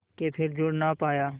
के फिर जुड़ ना पाया